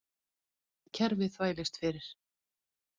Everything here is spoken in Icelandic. Kerfið þvælist fyrir